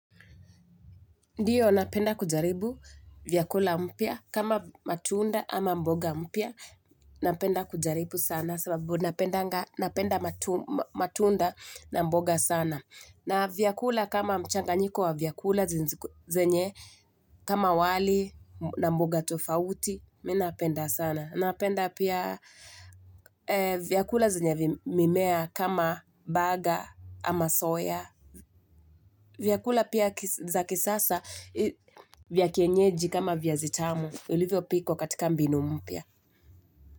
Ndiyo napenda kujaribu vyakula mpya kama matunda ama mboga mpyw napenda kujaribu sana sababu napendanga napenda matunda na mboga sana. Na vyakula kama mchanganyiko wa vyakula zenye ziko zenye kama wali na mboga tofauti, mi napenda sana. Napenda pia vyakula zinyavi mimea kama baga ama soya. Vyakula pia za kisasa vya kienyeji kama viazi tamu. Ilivyo pikwa katika mbinu mpia.